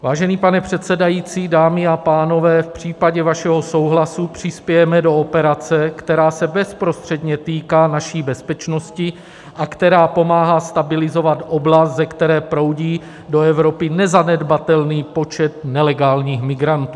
Vážený pane předsedající, dámy a pánové, v případě vašeho souhlasu přispějeme do operace, která se bezprostředně týká naší bezpečnosti a která pomáhá stabilizovat oblast, ze které proudí do Evropy nezanedbatelný počet nelegálních migrantů.